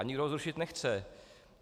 A nikdo ho zrušit nechce.